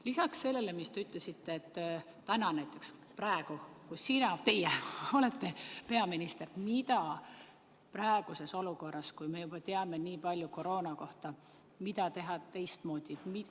Lisaks sellele, mis te ütlesite, kui näiteks teie oleksite praegu peaminister, mida teha teistmoodi praeguses olukorras, kui me juba teame nii palju koroona kohta?